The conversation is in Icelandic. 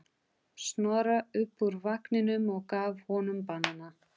Snorra upp úr vagninum og gaf honum banana.